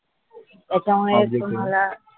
तुम्हाला